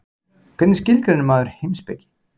Hvernig skilgreinir maður heimspeki?